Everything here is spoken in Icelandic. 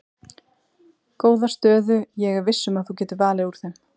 Góða stöðu ég er viss um að þú getur valið úr þeim.